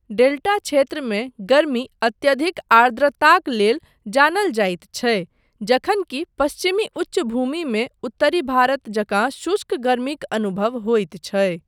Delta क्षेत्रमे गर्मी अत्यधिक आर्द्रताक लेल जानल जाइत छै, जखन कि पश्चिमी उच्चभूमिमे उत्तरी भारत जकाँ शुष्क गर्मीक अनुभव होइत छै।